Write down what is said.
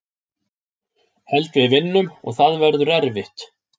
Held við vinnum og það verður erfitt.